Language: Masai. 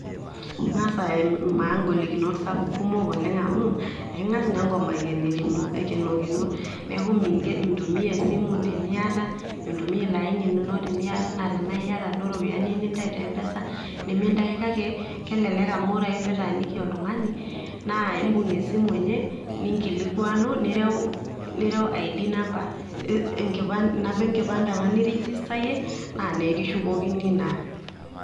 ing'as aimaa ing'olikinot kumok oleng, amu eking'aas naa enkop ayenikino, neku mintumia esimu tenimiata, mintumia ilo aini lino tenaa iyata duo iropiyiani niata te mpesa. nimintayu kake kelelek amu ore ake pee itaaniki oltung'ani naa imbung' esimu enye, nireu id number inamba enkipande apa nirigistayie naa nikishukokini naa.